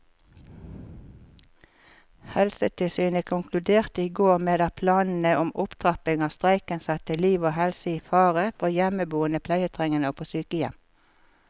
Helsetilsynet konkluderte i går med at planene om opptrapping av streiken satte liv og helse i fare for hjemmeboende pleietrengende og på sykehjem.